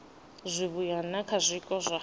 zwivhuya na kha zwiko zwa